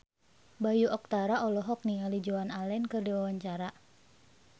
Bayu Octara olohok ningali Joan Allen keur diwawancara